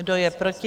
Kdo je proti?